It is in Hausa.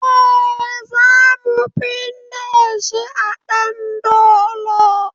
Eh, zamu binne shi a ɗandolo